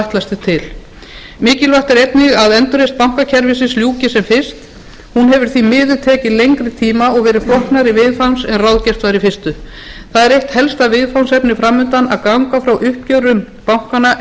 ætlast er til mikilvægt er einnig að endurreisn bankakerfisins ljúki sem fyrst hún hefur því miður tekið lengri tíma og verið flóknari viðfangs en ráðgert var í fyrstu það er eitt helsta viðfangsefni fram undan að ganga frá uppgjörum bankanna